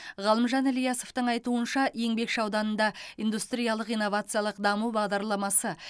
ғалымжан ильясовтың айтуынша еңбекші ауданында индустриялық инновациялық даму бағдарламасы